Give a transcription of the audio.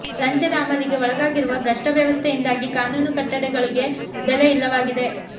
ಲಂಚದ ಅಮಲಿಗೆ ಒಳಗಾಗಿರುವ ಭ್ರಷ್ಟ ವ್ಯವಸ್ಥೆಯಿಂದಾಗಿ ಕಾನೂನು ಕಟ್ಟಳೆಗಳಿಗೆ ಬೆಲೆ ಇಲ್ಲವಾಗಿದೆ